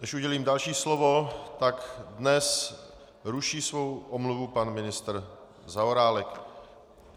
Než udělím další slovo, tak dnes ruší svou omluvu pan ministr Zaorálek.